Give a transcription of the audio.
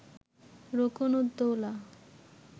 Rukn ud Daula